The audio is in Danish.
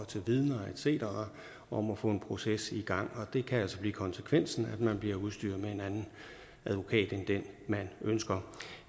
vidner cetera om at få en proces i gang og det kan altså blive konsekvensen at man bliver udstyret med en anden advokat end den man ønsker